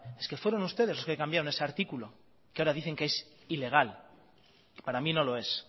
es que fueron ustedes los que cambiaron ese artículo que ahora dicen que es ilegal que para mí no lo es